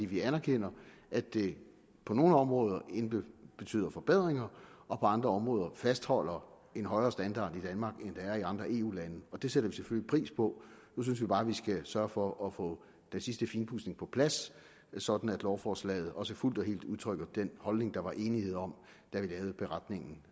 vi anerkender at det på nogle områder intet betyder af forbedringer og på andre områder fastholder en højere standard i danmark end der er i andre eu lande det sætter vi selvfølgelig pris på nu synes vi bare vi skal sørge for at få den sidste finpudsning på plads sådan at lovforslaget også fuldt og helt udtrykker den holdning der var enighed om da vi lavede beretningen